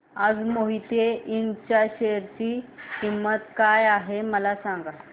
आज मोहिते इंड च्या शेअर ची किंमत किती आहे मला सांगा